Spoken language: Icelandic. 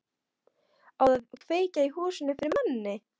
Á að kveikja í húsinu fyrir manni!